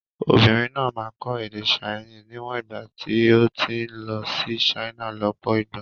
Obìnrin náà máa kọ́ èdè Chinese níwọ̀n ìgbà tí ó ti ń lọ sí China lọ́pọ̀ ìgbà.